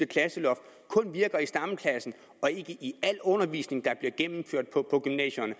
klasseloft kun gælder i stamklassen og ikke i al undervisning der bliver gennemført på gymnasierne